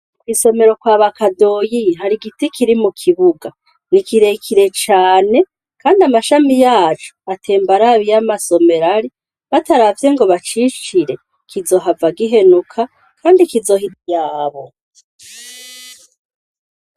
Kw'isomero kwa bakadoyi hari igiti kiri mu kibuga ni ikirekire cane, kandi amashami yacu atemba arabi iyo amasomero ari bataravye ngo bacicire kizohava gihenuka, kandi kizoha ityabo.